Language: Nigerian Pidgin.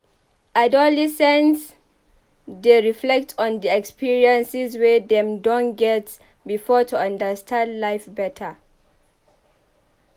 Adolescents dey reflect on di experiences wey dem don get before to understand life better.